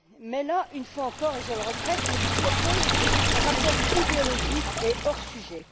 Mais là, une fois encore, et je le regrette, on nous propose un rapport idéologique et hors sujet.